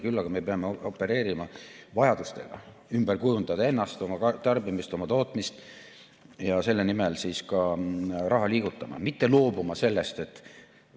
Küll aga me peame opereerima vajadustega, ümber kujundada ennast, oma tarbimist, oma tootmist ja selle nimel ka raha liigutama, mitte sellest loobuma.